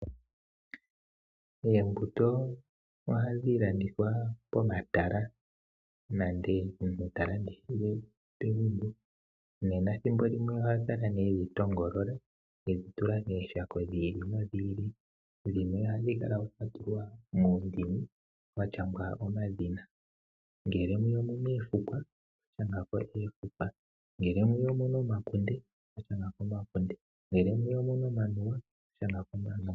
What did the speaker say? Oombuto ohadhi landithwa pomatala nenge omuntu ta landithile pegumbo . Ethimbolimwe oha kala nee edhi yoolola edhi tula mooshako dhi ili nodhi ili dhimwe ohadhi kala dha tulwa muundini washangwa omadhina ngele omuna oofukwa okwashangwa oofukwa, ngele mwiya omuna omakunde okwashangako omakunde, ngele mwiya omuna omanuwa okwashangako omanuwa.